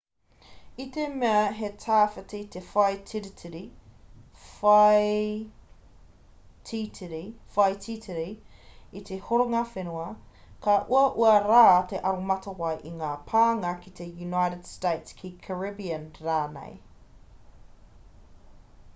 i te mea he tawhiti te whaititiri i te horonga whenua ka uaua rā te aromatawai i ngā pānga ki te united states ki caribbean rānei